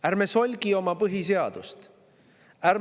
Ärme solgime oma põhiseadust!